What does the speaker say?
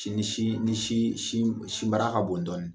Ni Sin sin sinbara ka bon dɔɔnin